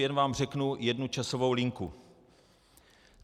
Jen vám řeknu jednu časovou linku.